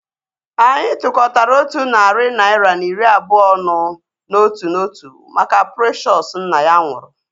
Anyị tukọtara otu narị naira na iri abụọ ọnụ n'otu n'otu maka Precious nna ya nwụrụ